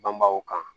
Banbaw kan